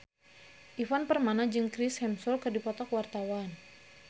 Ivan Permana jeung Chris Hemsworth keur dipoto ku wartawan